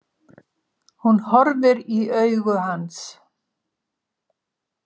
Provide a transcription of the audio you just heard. Hún horfir í augu hans.